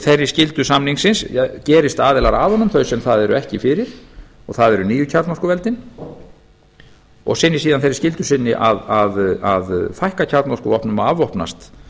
þeirri skyldu samningsins gerist aðilar að honum þau sem það eru ekki fyrir og það eru nýju kjarnorkuveldin og sinni síðan þeirri skyldu sinni að fækka kjarnorkuvopnum og afvopnast